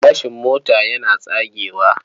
Gilashin mota yana tsagewa.